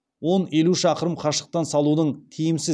он елу шақырым қашықтан салудың тиімсіз